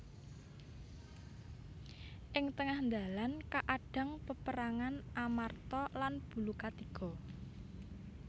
Ing tengah dalan kaadhang peperangan Amarta lan Bulukatiga